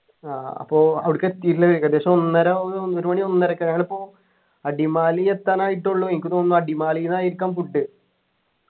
ആഹ് അപ്പൊ അവിടെക്ക് എത്തീട്ടില്ല ഏകദേശം ഒന്നര ഒന്നര മണി ഒന്നരക്ക് ആണിപ്പോ അടിമാലി എത്താനായിട്ടെ ഉള്ളു എനിക്ക് തോന്നുന്നു അടിമാലിന്നു ആയിരിക്കാം food